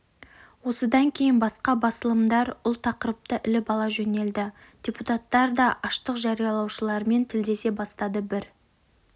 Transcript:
осыдан кейін басқа басылымдар ұл тақырыпты іліп ала жөнелді депутаттар да аштық жариялаушылармен тілдесе бастады бір